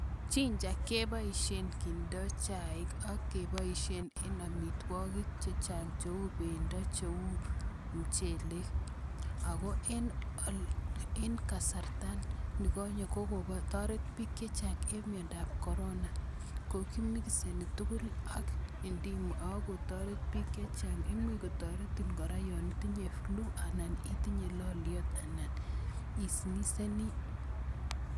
Chinja keboishen kindo chaik ak keboishen en amitwokik chechang cheu bendo cheu mchelek akoo en kasarta nikonye kokotoret biik chechang en miondab korona kokimikiseni tukul ak indimo ak kotoret biik chachang, imuch kotoretin kora yoon itinye flue anan itinye loliot anan isniseni.